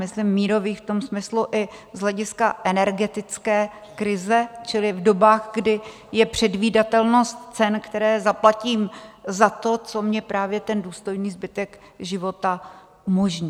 Myslím mírových v tom smyslu i z hlediska energetické krize, čili v dobách, kdy je předvídatelnost cen, které zaplatím za to, co mi právě ten důstojný zbytek života umožní.